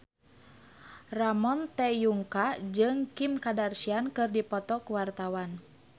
Ramon T. Yungka jeung Kim Kardashian keur dipoto ku wartawan